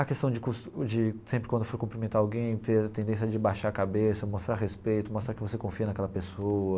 A questão de cos de sempre quando for cumprimentar alguém, ter a tendência de baixar a cabeça, mostrar respeito, mostrar que você confia naquela pessoa.